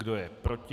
Kdo je proti?